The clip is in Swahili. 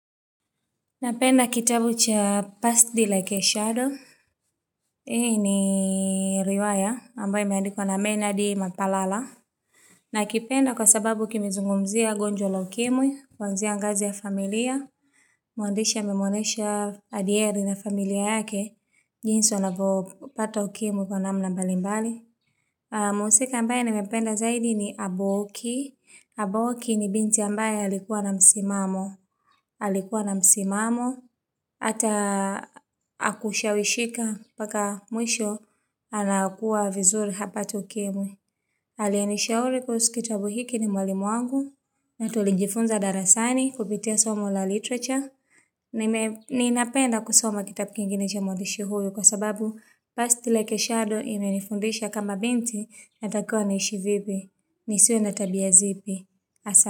Napenda kitabu cha Passed Like a shadow. Hii ni Riwaya ambayo imeandikwa na Bernard Mapalala. Nakipenda kwa sababu kimezungumzia gonjwa la ukimwi, kuanzia ngazi ya familia, muandishi amemwonyesha adyeri na familia yake, jinsi wanavyopata ukimwi kwa namna mbalimbali. Muhusika ambaye nimependa zaidi ni Abooki. Abooki ni binti ambaye alikuwa na msimamo. Halikuwa na msimamo. Hata hakushawishika mpaka mwisho anakua vizuri hapati ukimwi aliyenishauri kuhusu kitabu hiki ni mwalimu wangu na tulijifunza darasani kupitia somo la literature ninapenda kusoma kitabu kingine cha mwandishi huyu kwa sababu Passed Like a shadow imenifundisha kama binti natakiwa niishi vipi nisiwe na tabia zipi hasa.